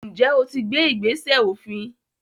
ǹjẹ́ o ti gbé “ìgbésẹ̀ òfin”.?